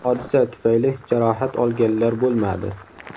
Hodisa tufayli jarohat olganlar bo‘lmadi.